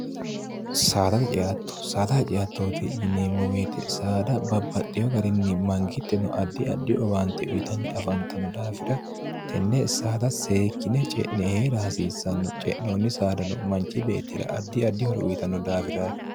saadaa ceatto saada ha ceattooti yineemmo weete saada babbaxxiyo garinni mangitteno addi addhi owaante uyitanni afantanno daafira tenne saada seekkine ce'ne eera hasiissanno ce'noonni saadano manchi beettira addi addihoro uyitanno daafiraati